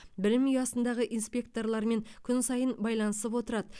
білім ұясындағы инспекторлармен күн сайын байланысып отырады